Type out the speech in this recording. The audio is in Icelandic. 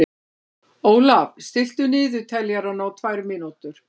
Ólaf, stilltu niðurteljara á tvær mínútur.